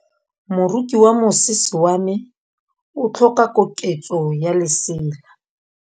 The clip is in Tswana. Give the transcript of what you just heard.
Moroki wa mosese wa me o tlhoka koketsô ya lesela.